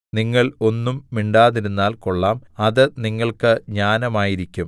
നിങ്ങൾ ഒന്നും മിണ്ടാതിരുന്നാൽ കൊള്ളാം അത് നിങ്ങൾക്ക് ജ്ഞാനമായിരിക്കും